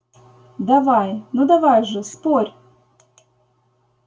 давай ну давай же спорь